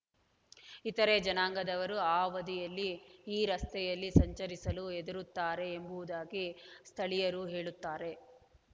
ಇತರೆ ಜನಾಂಗದವರೂ ಆ ಅವಧಿಯಲ್ಲಿ ಈ ರಸ್ತೆಯಲ್ಲಿ ಸಂಚರಿಸಲು ಹೆದರುತ್ತಾರೆ ಎಂಬುದಾಗಿ ಸ್ಥಳೀಯರು ಹೇಳುತ್ತಾರೆ